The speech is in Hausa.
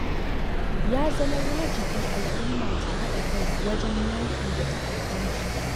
Ya zama wajibi al'umma ta haɗa kai wajen yaƙi da ta'addanci.